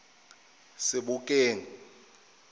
sebokeng